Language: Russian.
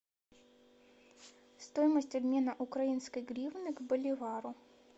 стоимость обмена украинской гривны к боливару